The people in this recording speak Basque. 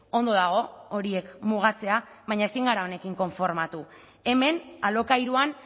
ondo dago horiek mugatzea baina ezin gara honekin konformatu hemen alokairuan